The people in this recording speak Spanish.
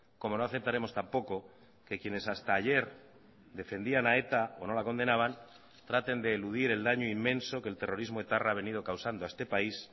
como no aceptaremos tampoco que quienes hasta ayer defendían a eta o no la condenaban traten de eludir el daño inmenso que el terrorismo etarra ha venido causando a este país